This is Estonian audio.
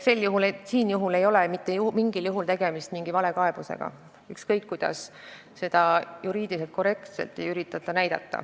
Siin ei ole mitte mingil juhul tegemist valekaebusega, ükskõik kuidas ei üritata seda näidata juriidiliselt korrektsena.